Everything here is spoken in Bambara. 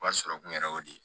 Wari sɔrɔ kun yɛrɛ y'o de ye